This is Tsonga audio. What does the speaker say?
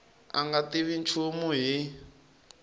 a nga tivi nchumu hi